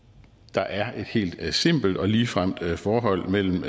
der er et helt simpelt og ligefremt forhold mellem